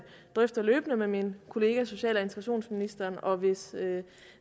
drøfter løbende med min kollega social og integrationsministeren og hvis